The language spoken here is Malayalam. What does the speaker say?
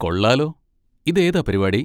കൊള്ളാലോ! ഇതേതാ പരിപാടി?